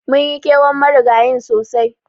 Munyi kewan Marigayin sosai.